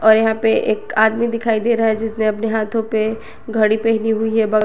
और यहां पे एक आदमी दिखाई दे रहा है जिसने अपने हाथों पे घड़ी पहनी हुई है।